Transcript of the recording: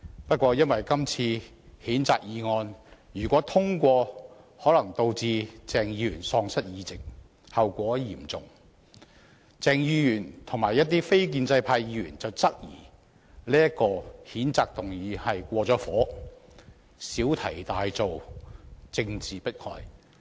由於今次的譴責議案一旦獲得通過，可能導致鄭松泰議員喪失議席，後果嚴重，故鄭議員和一些非建制派議員質疑譴責議案過火，小題大做，是政治迫害。